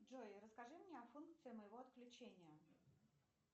джой расскажи мне о функции моего отключения